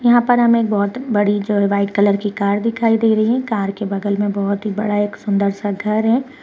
यहां पर हमे एक बहौत बड़ी जो है व्हाइट कलर की कार दिखाई दे रही है कार के बगल मे बहौत ही बड़ा एक सुंदर सा घर है।